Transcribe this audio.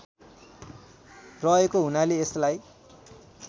रहेको हुनाले यसलाई